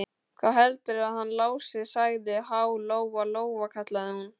Hvað heldurðu að hann Lási segði, ha, Lóa-Lóa, kallaði hún.